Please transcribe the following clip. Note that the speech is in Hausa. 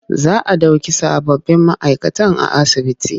Za a ɗauki sababbin ma'aikatan a asibitin.